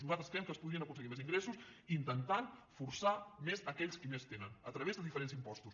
nosaltres creiem que es podrien aconseguir més ingressos intentant forçar més aquells que més tenen a través de diferents impostos